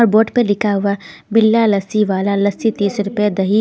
और बोर्ड पर लिखा हुआ बिल्ला लस्सी वाला लस्सी तीस रुपया दही--